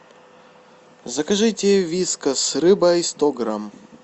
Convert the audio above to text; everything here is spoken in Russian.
закажите вискас с рыбой сто грамм